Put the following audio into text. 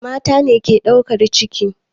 Mata ne ke ɗaukar ciki.